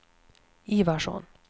Ivarsson